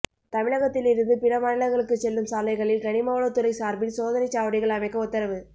தமிழகத்திலிருந்து பிற மாநிலங்களுக்குச் செல்லும் சாலைகளில் கனிமவளத்துறை சாா்பில் சோதனைச் சாவடிகள் அமைக்க உத்தரவு